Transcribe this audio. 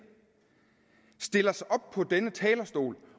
stiller sig op på denne talerstol